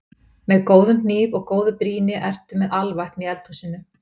Með góðum hníf og góðu brýni ertu með alvæpni í eldhúsinu.